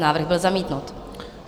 Návrh byl zamítnut.